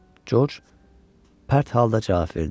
George pərt halda cavab verdi.